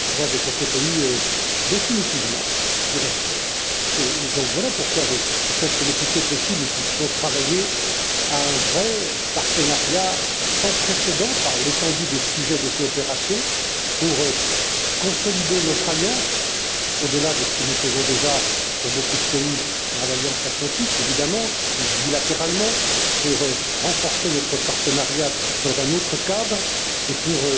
J'ai pour ce pays définitivement du respect et c'est pourquoi je souhaite que le plus tôt possible nous puissions travailler à un vrai partenariat sans précédent par l'étendue des sujets de coopération pour consolider notre alliance au delà de ce que nous faisons déjà pour beaucoup de pays dans l'Alliance atlantique évidemment ou bilatéralement pour renforcer notre partenariat dans un autre cadre et pour